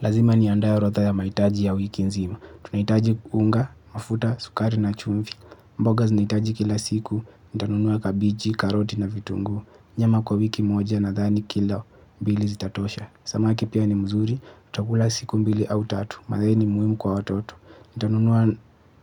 Lazima niandae orodha ya mahitaji ya wiki nzima. Tunahitaji unga, mafuta, sukari na chumvi. Mboga zinahitaji kila siku. Nitanunua kabichi, karoti na vitunguu. Nyama kwa wiki moja nathani kilo mbili zitatosha. Samaki pia ni mzuri nitakula siku mbili au tatu, maziwa ni muhimu kwa watoto nitanunua